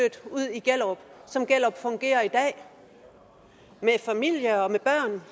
i gellerup som gellerup fungerer i dag med familie og med børn